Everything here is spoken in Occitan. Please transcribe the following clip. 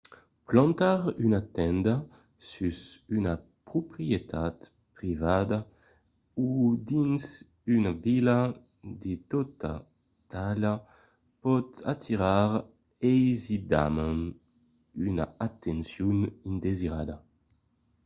plantar una tenda sus una proprietat privada o dins una vila de tota talha pòt atirar aisidament una atencion indesirada